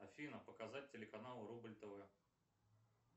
афина показать телеканал рубль тв